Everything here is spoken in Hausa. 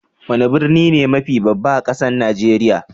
Wani birni ne mafi babba a kasan Nijeriya?